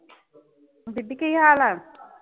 ਬੀਬੀ ਕੀ ਹਾਲ ਐ?